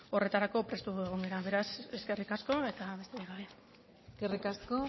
horretarako prestu egon gara beraz eskerrik asko eta besterik gabe eskerrik asko